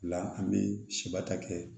La an bɛ siba ta kɛ